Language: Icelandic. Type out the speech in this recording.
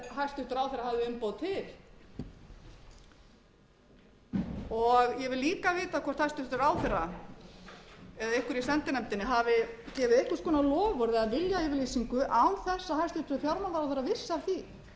hafði umboð til og ég vil líka vita hvort hæstvirtur ráðherra eða einhver í sendinefndinni hafi gefið einhvers konar loforð eða viljayfirlýsingu án þess að hæstvirtur fjármálaráðherra vissi af því það